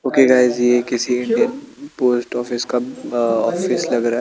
Okay guys ये किसी ये पोस्ट ऑफिस का ऑफिस लग रहा है।